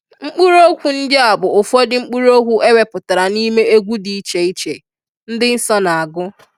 Mkpuru okwu ndi a bu ufodu mkpuru okwu eweputara n'ime egwu di iche iche ndi nso na agu